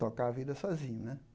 tocar a vida sozinho, né?